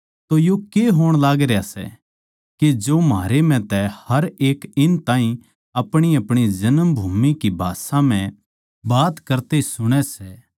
तो यो के होण लागरया सै के जो म्हारे म्ह तै हर एक इन ताहीं अपणीअपणी जन्मभूमि की भाषा म्ह बात करते सुणै सै